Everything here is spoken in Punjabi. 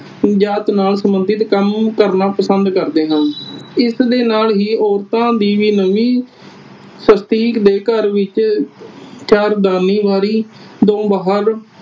ਜਾਤ ਨਾਲ ਸੰਬੰਧਤ ਕੰਮ ਕਰਨਾ ਪਸੰਦ ਕਰਦੇ ਹਨ। ਇਸ ਦੇ ਨਾਲ ਹੀ ਲੋਕਾਂ ਦੀ ਵੀ ਨਵੀਂ ਦੇ ਘਰ ਵਿਚ ਚਾਰ ਦੀਵਾਰੀ ਤੋਂ ਬਾਹਰ